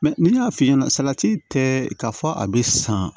n'i y'a fi ɲɛna salati tɛ k'a fɔ a bɛ san